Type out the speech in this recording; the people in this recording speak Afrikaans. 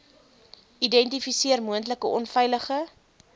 identifiseer moontlike onveilige